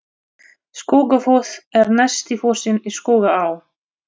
Skógafoss er neðsti fossinn í Skógaá.